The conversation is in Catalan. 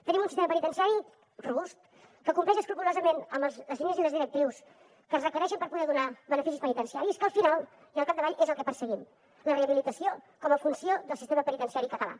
tenim un sistema penitenciari robust que compleix escrupolosament amb les lleis i les directrius que es requereixen per poder donar beneficis penitenciaris que al final i al capdavall és el que perseguim la rehabilitació com a funció del sistema penitenciari català